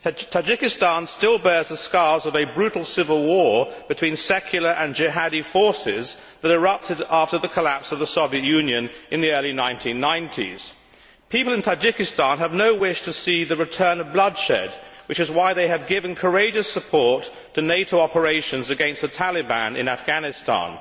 Tajikistan still bears the scars of a brutal civil war between secular and Jihadi forces that erupted after the collapse of the Soviet Union in the early 1990s. People in Tajikistan have no wish to see the return of bloodshed, which is why they have given courageous support to NATO operations against the Taliban in Afghanistan.